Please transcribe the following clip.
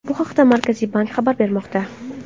Bu haqda Markaziy bank xabar bermoqda .